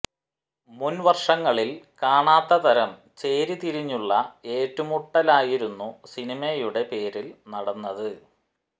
മുൻ വർഷങ്ങളിൽ കാണാത്ത തരം ചേരി തിരിഞ്ഞുള്ള ഏറ്റുമുട്ടലായിരുന്നു സിനിമയുടെ പേരിൽ നടന്നത്